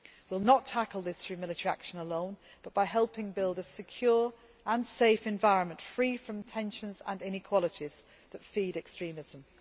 We will not tackle this through military action alone but by helping build a secure and safe environment free from the tensions and inequalities that feed extremism.